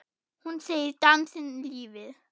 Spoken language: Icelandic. Hún segir dansinn lífið.